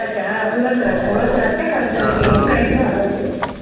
உலர் திராட்சை உலர் திராட்சை கருப்பு திராட்சை எது கிடைக்குதோ அதை வச்சு